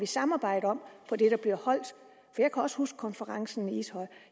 samarbejde om jeg kan også huske konferencen i ishøj